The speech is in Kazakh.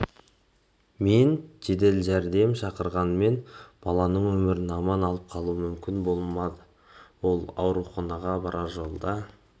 мен жедел жәрдем шақырғанымен баланың өмірін аман алып қалу мүмкін болмады ол ауруханаға барар жолда